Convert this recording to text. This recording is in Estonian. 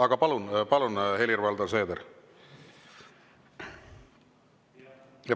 Aga palun, Helir-Valdor Seeder!